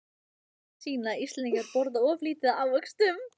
Rannsóknir sýna að Íslendingar borða of lítið af ávöxtum.